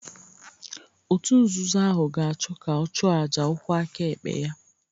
Òtù nzuzo ahụ ga-achọ ka ọ chụọ àjà ụkwụ aka ekpe ya